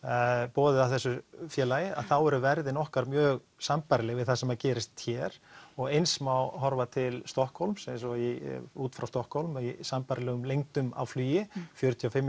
boðið af þessu félagi þá eru verðin okkar mjög sambærileg við það sem gerist hér og eins má horfa til Stokkhólms eins og út frá Stokkhólmi í sambærilegum lengdum á flugi fjörutíu og fimm